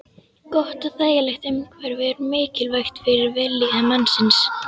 Gott og þægilegt umhverfi er mikilvægt fyrir vellíðan mannsins.